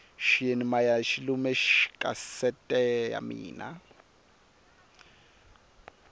xiyeni maya xi lume kasete ya mina